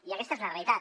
i aquesta és la realitat